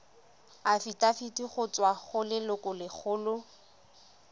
afitafiti go tswa go lelokolegolo